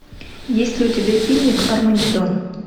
есть ли у тебя фильмик армагеддон